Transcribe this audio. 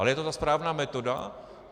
Ale je to ta správná metoda?